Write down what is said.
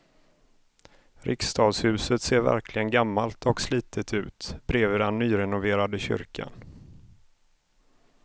Riksdagshuset ser verkligen gammalt och slitet ut bredvid den nyrenoverade kyrkan.